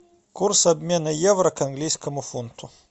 курс обмена евро к английскому фунту